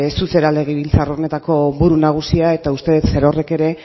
zu zara legebiltzar honetako buru nagusia eta uste dut zerorrek ere